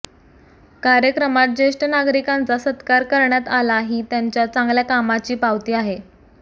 कार्यक्रमात जेष्ठ नागरीकांचा सत्कार करण्यात आला ही त्यांच्या चांगल्या कामाची पावती आहे